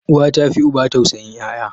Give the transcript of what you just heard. Uwa tafi uba tausayin yaya.